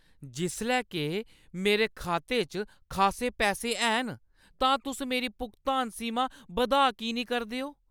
जिसलै के मेरे खाते च खासे पैसे हैन तां तुस मेरी भुगतान सीमा बधाऽ की नेईं करदे ओ?